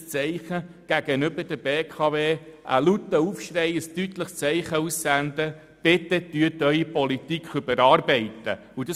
Aber ich bitte Sie doch, einen lauten Aufschrei, ein politisches Zeichen an die BKW auszusenden im Sinne von: Bitte überarbeiten Sie Ihre Politik!